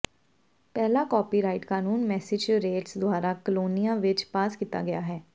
ਪਹਿਲਾ ਕਾਪੀਰਾਈਟ ਕਾਨੂੰਨ ਮੈਸੇਚਿਉਸੇਟਸ ਦੁਆਰਾ ਕਲੋਨੀਆਂ ਵਿੱਚ ਪਾਸ ਕੀਤਾ ਗਿਆ ਹੈ